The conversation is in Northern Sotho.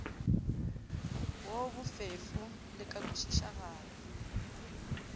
wo bofefo le ka kwešišagalo